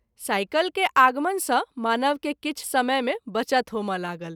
Cycle के आगमन सँ मानव के किछु समय मे बचत होमए लागल।